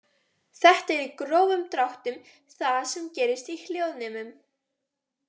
Þetta er í grófum dráttum það sem gerist í hljóðnemum.